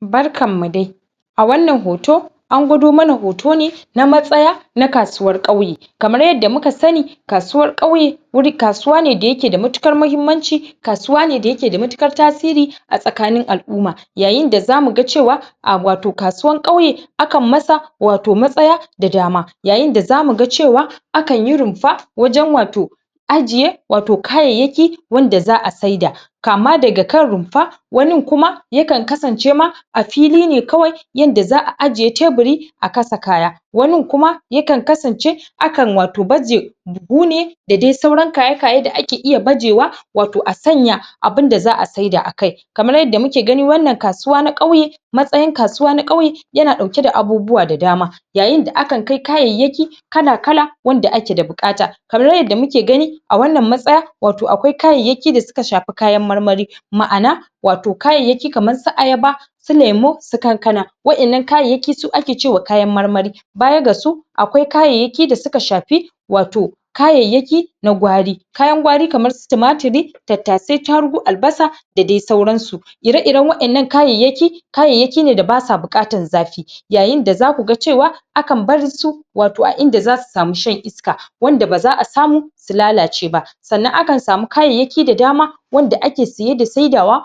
Barkan mu dai! A wannan hoto, an gwado mana hoto ne na matsaya, na kasuwar ƙauye. Kamar yadda muka sani kasuwar ƙauye wuri, kasuwa ne da ya ke da matuƙar mahimmanci, kasuwa ne da ya ke da matuƙar tasiri a tsakanin al'umma. Yayin da za mu ga cewa a wato kasuwan ƙauye akan masa wato matsaya da dama. Yayin da za mu ga cewa akan yi runfa wajen wato ajiye wato kayayyaki wanda za'a saida. Kama daga kan rumfa wanin kuma yakan kasance ma a fili ne kawai yanda za'a ajiye teburi a kasa kaya. Wanin kuma yakan kasance akan wato baje gune da dai sauran kaye-kaye da ake bajewa wato a sanya abunda za'a sai da akai. Kamar yadda muke gani wannan kasuwa na ƙauye, matsayin kasuwa na ƙauye ya na ɗauke da abubuwa da dama. Yayin da akan kai kayayyaki kala-kala wanda ake da buƙata. Kamar yanda muke gani a wannan matsaya wato akwai kayayyaki da suka shafi kayan marmari ma'ana wato kayayyaki kaman su ayaba, su lemu, su kankana, waƴannan kayayyaki su ake cewa kayan marmari. Baya ga su, akwai kayayyaki da suka shafi wato kayayyaki na gwari. Kayan gwari kaman su tumatiri, tattasai, tarugu, albasa da dai sauran su. Ire-iren waƴannan kayayyaki. Kayayyaki ne da basa buƙatan zafi. Yayin da za ku ga cewa akan barsu wato a inda za su samu shan iska wanda ba'a za'a samu su lalace ba. Sannan akan samu kayayyaki da dama wanda ake saye da saidawa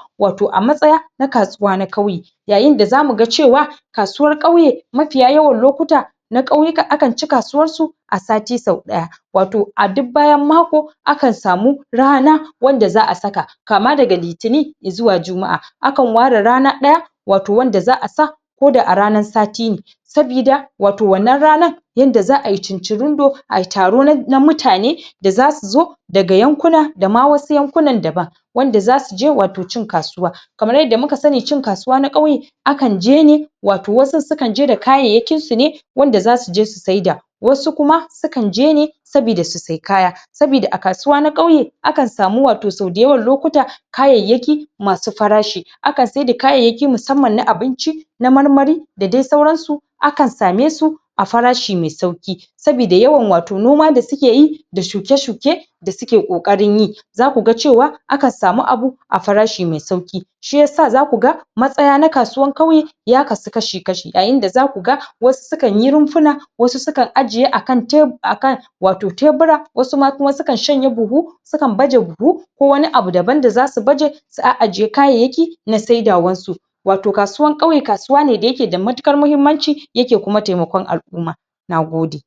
a matsaya na kasuwa na ƙauye Yayin da za mu ga cewa kasuwar ƙauye mafiya yawan lokuta na ƙauyu akan ci kasuwar su a sati sau ɗaya wato a duk bayan mako akan samu rana wadda za'a saka, kama daga Litini zuwa Juma'a akan ware rana ɗaya wato wadda za'a sa ko da a ranar sati ne, sabida wato wannan rana yanda za'a yi cin-cirindo ayi taro na em, na mutane da su zo daga yakuna, da dama wasu yankuna daban, wanda za su je wato cin kasuwa. Kamar yadda muka sani cin kasuwa na ƙauye akan je ne, wato wasu kan je da kayayyakin su ne wanda za su je su saida. Wasu kuma sukan je ne sabida su sayi kaya, sabida a kasuwa na ƙauye akan samu wato sau da yawan lokuta, kayayyaki masu farashi. Akan sai da kayayyaki musamman na abinci, na marmari da dai sauran su. Akan same su a farashi mai sauƙi. Sabida yawan wato noma da suke yi da shuke-shuke da suke ƙoƙarin yi, za ku ga cewa akan samu abu a farashi mai sauƙi. Shi yasa za ku ga matsaya na kasuwan ƙauye ya kasu kashi-kashi, a yayin da za ku ga wasu sukan yi rumfuna, wasu sukan ajiye akan tebu, akan wato tebura, wasu ma kuma sukan shanya buhu, sukan baje buhu ko wani abu daban da za su baje, su a'ajiye kayayyaki na saidawan su. Wato kasuwan ƙauye, kasuwa ne da ya ke da matuƙar muhimmanci, ya ke kuma taimakon al'umma. Nagode!